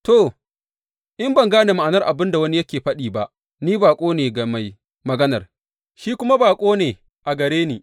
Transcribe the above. To, in ban gane ma’anar abin da wani yake faɗi ba, ni baƙo ne ga mai maganar, shi kuma baƙo ne a gare ni.